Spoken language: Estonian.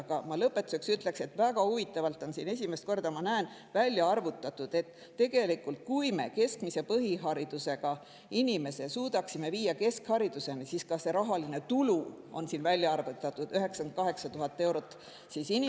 Aga ma lõpetuseks ütleksin, et väga huvitavalt on siin – esimest korda ma näen seda – välja arvutatud, et tegelikult, kui me keskmise põhiharidusega inimese suudaksime viia keskhariduseni, siis see rahaline tulu oleks 98 000 eurot inimese kohta.